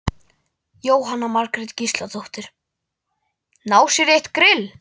Jóhanna Margrét Gísladóttir: Ná sér í eitt grill?